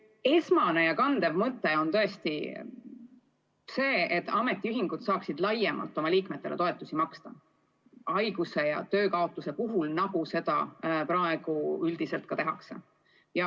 Esmane ja kandev mõte on tõesti see, et ametiühingud saaksid oma liikmetele haiguse ja töökaotuse puhul toetusi maksta laiemalt, kui seda praegu üldiselt tehakse.